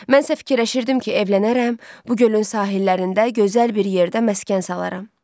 Mən isə fikirləşirdim ki, evlənərəm, bu gölün sahillərində gözəl bir yerdə məskən salaram.